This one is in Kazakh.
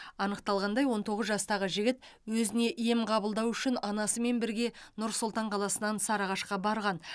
анықталғандай он тоғыз жастағы жігіт өзіне ем қабылдау үшін анасымен бірге нұр сұлтан қаласынан сарыағашқа барған